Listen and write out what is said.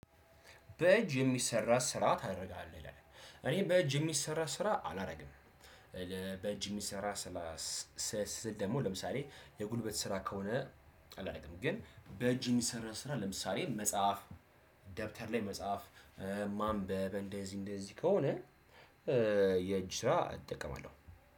በእጅ የሚሰራ ስራ ታደርጋለህ ይላል? እኔ በእጅ የሚሰራ ስራ አላደርግም። በእጅ የሚሰራ ስራ ስል ደግሞ ለምሳሌ የጉልበት ስራ ከሆነ አላረግም ግን በእጅ የሚሰራ ስራ ለምሳሌ መጽሐፍ ደብተር ላይ መጽሐፍ ማንበብ እንደዚህ እንደዚህ ከሆነ። የእጅ ስራ እጠቀማለሁ